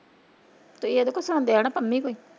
ਤੁਸੀਂ ਇਹਦੇ ਕੋ ਹੀ ਸਵਾਂਦੇ ਆਣਾ ਪੰਮੀ ਕੋ ਹੀ।